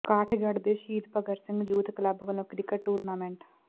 ਕਾਠਗੜ੍ਹ ਦੇ Shaheed Bhagat Singh youth club ਵੱਲੋਂ cricket tournament